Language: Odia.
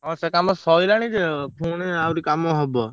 ହଁ ସେ କାମ ଶଇଲାଣି ଯେ ପୁଣି ଆହୁରି କାମ ହବ।